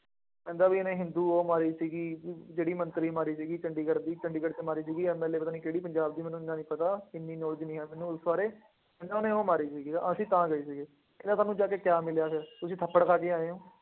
ਕਹਿੰਦਾ ਬਈ ਇਹਨੇ ਹਿੰਦੂ ਉਹ ਮਾਰੀ ਸੀਗੀ, ਜਿਹੜੀ ਮੰਤਰੀ ਮਾਰੀ ਸੀਗੀ, ਚੰਡੀਗੜ੍ਹ ਦੀ, ਚੰਡੀਗੜ੍ਹ ਚ ਮਾਰੀ ਸੀਗੀ MLA ਪਤਾ ਨਹੀਂ ਕਿਹੜੀ ਪੰਜਾਬ ਦੀ, ਮੈਨੂੰ ਐਨਾ ਨਹੀਂ ਪਤਾ, ਐਨੀ knowledge ਨਹੀਂ ਹੈ ਮੈਨੂੰ ਉਸ ਬਾਰੇ, ਇਹਨਾ ਨੇ ਉਹ ਮਾਰੀ ਸੀਗੀ, ਅਸੀਂ ਤਾਂ ਗਏ ਸੀਗੇ, ਕਹਿੰਦਾ ਤੁਹਾਨੂੰ ਜਾ ਕੇ ਕਿਆ ਮਿਲਿਆ ਫੇਰ, ਤੁਸੀਂ ਖੱਪਣ ਪਾ ਕੇ ਆਏ ਹੋ।